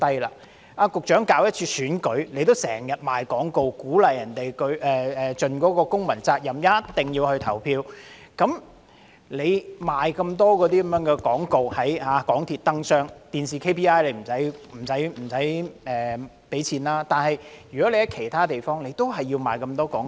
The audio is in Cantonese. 局長，當局舉行一次選舉，也經常賣廣告，鼓勵市民盡公民責任，一定要投票，在港鐵燈箱賣很多廣告，雖然電視的 API 不用付錢，但在其他地方也要賣很多廣告。